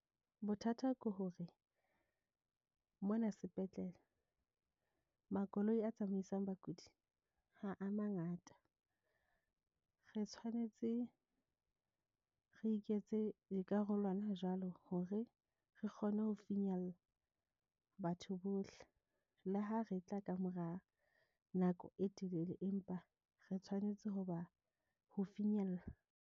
Bothata ke hore mona sepetlele makoloi a tsamaisang bakudi. Ha a mangata, re tshwanetse re iketse ekare le hona jwale hore re kgone ho finyella batho bohle le ha re tla kamora nako e telele. Empa re tshwanetse ho ba ho finyella.